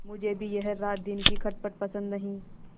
मुझे भी यह रातदिन की खटखट पसंद नहीं